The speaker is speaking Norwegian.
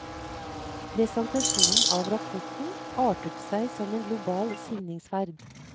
Presentasjonen av rapporten artet seg som en global signingsferd.